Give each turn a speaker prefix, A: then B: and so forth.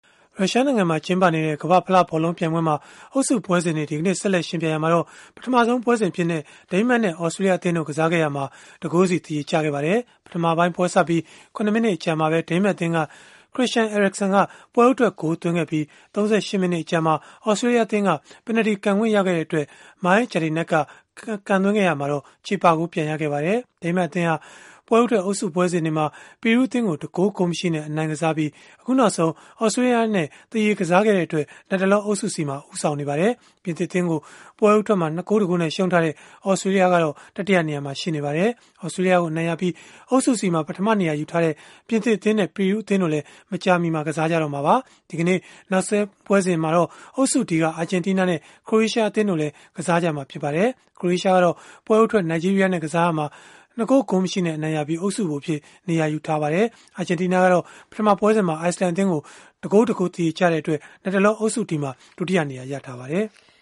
A: ရုရှားနိုင်ငံမှာ ကျင်းပနေတဲ့ ကမ္ဘာ့ဖလားဘောလုံးပြိုင်ပွဲမှာ အုပ်စုပွဲစဉ်တွေ ဒီကနေ့ ဆက်လက်ယှဉ်ပြိုင်ရာမှာ ပထမဆုံးပွဲစဉ်အဖြစ် ဒိန်းမတ်နဲ့ သြစတြေးလျအသင်းတို့ ကစားခဲ့ရာမှာတော့ တဂိုးစီ သရေကျခဲ့ပါတယ်။ ပထမပိုင်း ပွဲစပြီး ၇ မိနစ် အကြာမှာပဲ ဒိန်းမတ်အသင်းက Christian Eriksen က ပွဲဦးထွက်ဂိုးသွင်းခဲ့ပြီး၊ ၃၈ မိနစ်အကြာမှာ သြစတြေးလျအသင်းက ပင်နယ်တီ ကန်ခွင့်ရတဲ့အတွက် Mile Jedinak က ကန်သွင်းခဲ့ရမှာ ချေပဂိုးပြန်ရခဲ့ပါတယ်။ ဒိန်းမတ်အသင်းဟာ ပွဲဦးထွက် အုပ်စုပွဲစဉ်တွေမှာ ပီရူးအသင်းကို ၁ ဂိုး၊ ဂိုးမရှိနဲ့ အနိုင်ကစားပြီး အခုနောက်ဆုံး သြစတြေးလျနဲ့ သရေကစားခဲ့တဲ့အတွက် လတ်တလော အုပ်စု C မှာ ဦးဆောင်နေပါတယ်။ ပြင်သစ်အသင်းကို ပွဲဦးထွက်မှာ ၂ ဂိုး ၁ ဂိုးနဲ့ ရှုံးထားတဲ့ သြစတြေးလျကတော့ တတိယနေရာမှာ ရှိနေပါတယ်။ သြစတြေးလျကို အနိုင်ရပြီး အုပ်စု C မှာ ပထမနေရာ ယူထားတဲ့ ပြင်သစ်အသင်းနဲ့ ပီရူးအသင်းတို့လည်း ဒီကနေ့ ကစားကြမှာပါ။ ဒီကနေ့ နောက်ဆုံးပွဲစဉ်မှာတော့ အုပ်စု D က အာဂျင်နီးနားနဲ့ ခရိုအေးရှား အသင်းတို့လည်း ကစားကြမှာပါ။ ခရိုအေးရှားကတော့ ပွဲဦးထွက် နိုင်ဂျီးရီးယားနဲ့ ကစားရာမှာ ၂ ဂိုး ဂိုးမရှိနဲ့ အနိုင်ရပြီး အုပ်စုဗိုလ်အဖြစ် နေရာယူထားပါတယ်။ အာဂျင်တီးနားကတော့ ပထမပွဲစဉ်မှာ အိုက်စ်လန်အသင်းကို ၁ ဂိုး- ၁ ဂိုး သရေကျခဲ့တဲ့အတွက် လတ်တလော အုပ်စု D မှာ ဒုတိယနေရာ ရထားပါတယ်။